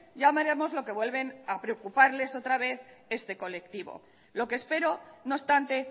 ya veremos lo que vuelven a preocuparles otra vez este colectivo lo que espero no obstante